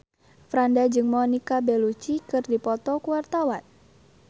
Franda jeung Monica Belluci keur dipoto ku wartawan